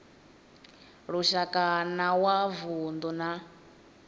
lushaka na wa vundu na